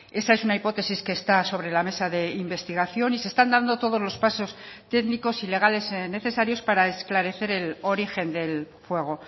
esa es una hipótesis que está sobre la mesa de investigación y se están dando todos los pasos técnicos y legales necesarios para esclarecer el origen del fuego